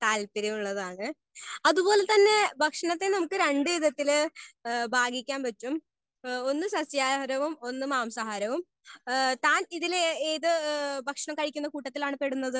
Speaker 1 താല്പര്യം ഉള്ളതാണ്. അത് പോലെ തന്നെ ഭക്ഷണത്തെ നമുക്ക് രണ്ട് വിധത്തിൽ ഹേ ബാഗിക്കാൻ പറ്റും ഒന്ന് ശാസ്യഹാരവും ഒന്ന് മാംസഹാരവും. ഹേ താൻ ഇതില് ഏത് ഭക്ഷണം കഴിക്കുന്ന കൂട്ടത്തിൽ ആണ് പെടുന്നത്?